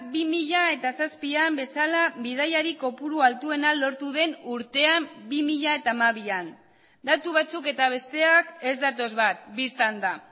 bi mila zazpian bezala bidaiari kopuru altuena lortu den urtean bi mila hamabian datu batzuk eta besteak ez datoz bat bistan da